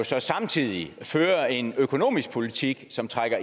så samtidig fører en økonomisk politik som trækker